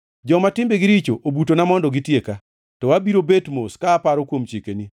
Joma timbegi richo obutona mondo gitieka, to abiro bet mos ka aparo kuom chikeni.